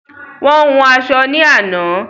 Wọ́n hun aṣọ ní àná